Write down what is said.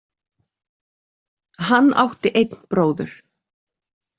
Hann átti einn bróður.